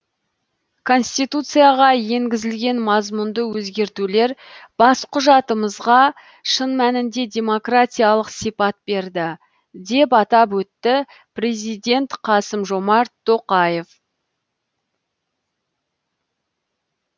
конституцияға енгізілген мазмұнды өзгертулер бас құжатымызға шын мәнінде демократиялық сипат берді деп атап өтті президент қасым жомарт тоқаев